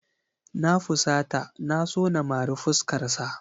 Na fusata na so na mari fuskarsa.